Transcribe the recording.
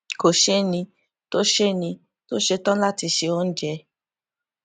kò séni tó séni tó ṣetán láti se oúnjẹ